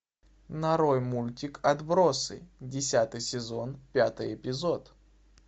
нарой мультик отбросы десятый сезон пятый эпизод